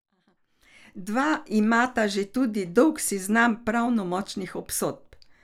Dva imata že tudi dolg seznam pravnomočnih obsodb.